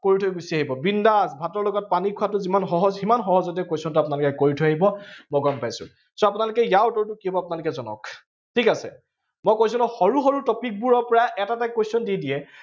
কৰি থৈ গুছি আহিব। বিন্দাচ, ভাতৰ লগত পানী খোৱাটো যিমান সহজ, সিমান সহজতে question টো আপোনালোকে কৰি থৈ আহিব মই গম পাইছো। so আপোনালোকে ইয়াৰ উত্তৰটো কি হব আপোনালোকে জনাওক। ঠিক আছে, মই কৈছো নহয়, সৰু সৰু topic বোৰৰ পৰা এটা এটা question দি দিয়ে